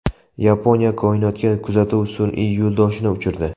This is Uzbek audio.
Yaponiya koinotga kuzatuv sun’iy yo‘ldoshini uchirdi.